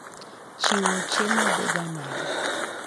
Chiwo chiemo dhiga nade?